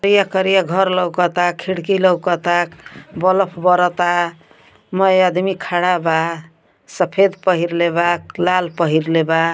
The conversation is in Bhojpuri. करिया करिया घर लउकता खिड़की लउकता बल्ब बरता मै आदमी खड़ा बा सफ़ेद पहिलेबा लाल पहिनलेबा --